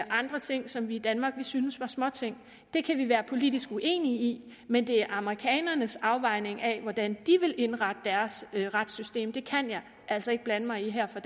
andre ting som vi i danmark ville synes var småting det kan vi være politisk uenige i men det er amerikanernes afvejning af hvordan de vil indrette deres retssystem det kan jeg altså ikke blande mig i her fra